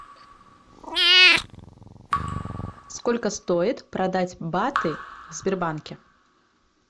сколько стоит продать баты в сбербанке